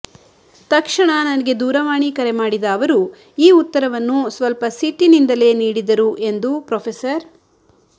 ತಕ್ಷಣ ನನಗೆ ದೂರವಾಣಿ ಕರೆ ಮಾಡಿದ ಅವರು ಈ ಉತ್ತರವನ್ನು ಸ್ವಲ್ಪ ಸಿಟ್ಟಿನಿಂದಲೇ ನೀಡಿದರು ಎಂದು ಪ್ರೊ